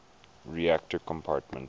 reactor compartment